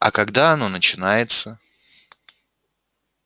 а когда оно начинается